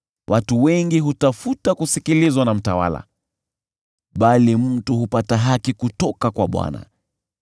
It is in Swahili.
Wengi hutafuta kusikilizwa na mtawala, bali mtu hupata haki kutoka kwa Bwana .